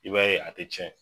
I b'a ye a te cɛn